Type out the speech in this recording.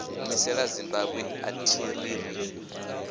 humisela zimbabwe athi ri ri